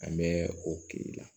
An bɛ o kirilɛn